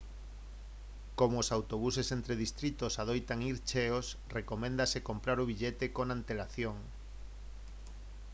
como os autobuses entre distritos adoitan ir cheos recoméndase comprar o billete con antelación